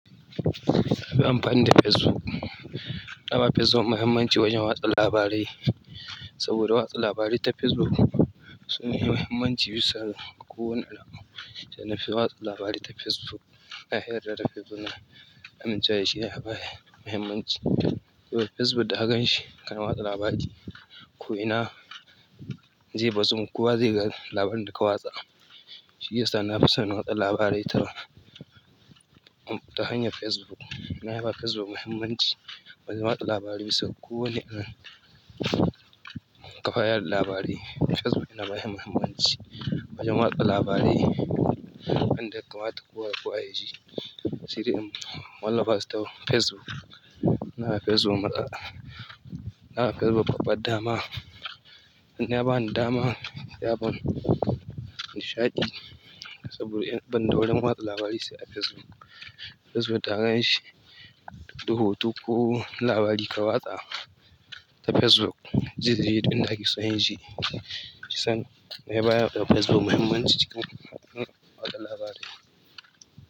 Nafi anfani da Facebook na ba Facebook muhimmanci wajen watsa labarai saboda watsa labarai ta Facebook sun fi muhimmanci bisa ga kowane laƙabi. Na fi watsa labarai ta Facebook. Na yarda da Facebook na amincewa shi da labarai muhimmanci. Saboda Facebook da ka gan shi kan watsa labari, ko ina zai bazu, kowa zai ga labarin da ka watsa. Shi ya sa na fi son watsa labarai ta hanyar Facebook. Na ba Facebook muhimmanci wajen watsa labarai saboda kowane ɗan ƙafayar labarai Facebook yana ba shi muhimmanci wajen watsa labarai. An daka mata kowa da ƙwa a yaji. Sai dai in wallafa su ta Facebook. Na Facebook maɗa. Na Facebook babba dama. Ya bani dama, ya bani nishaɗi saboda ban da wajen watsa labarai sai a Facebook. Facebook da hakan shi, rubutu ko labari ka watsa ta Facebook, zai je duk indakake so yaje. Shi sanda na yi bayarwa da Facebook muhimmanci cikin watsa labarai.